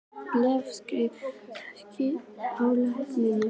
Leif, stilltu tímamælinn á sautján mínútur.